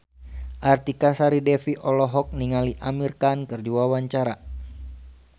Artika Sari Devi olohok ningali Amir Khan keur diwawancara